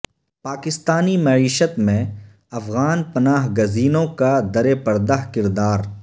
پاکستانی معیشت میں افغان پناہ گزینوں کا درپردہ کردار